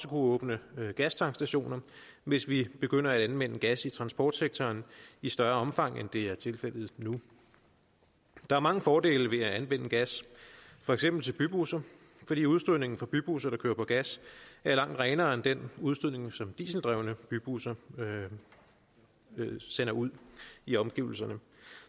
åbne gastankstationer hvis vi begynder at anvende gas i transportsektoren i større omfang end det er tilfældet nu der er mange fordele ved at anvende gas for eksempel til bybusser fordi udstødningen fra bybusser der kører på gas er langt renere end den udstødning som dieseldrevne bybusser sender ud i omgivelserne